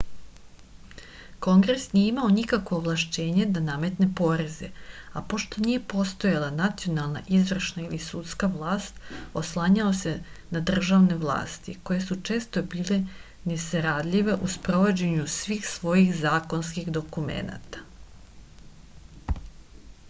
kongres nije imao nikakvo ovlašćenje da nametne poreze a pošto nije postojala nacionalna izvršna ili sudska vlast oslanjao se na državne vlasti koje su često bile nesaradljive u sprovođenju svih svojih zakonskih dokumenata